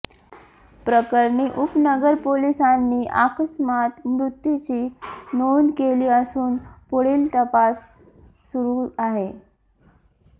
प्रकरणी उपनगर पोलिसांनी आकस्मात मृत्युची नोंद केली असून पुढील तपास सुरू आहे